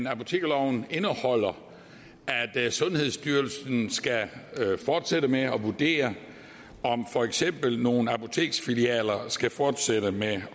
at apotekerloven indeholder at sundhedsstyrelsen skal fortsætte med at vurdere om for eksempel nogle apoteksfilialer skal fortsætte med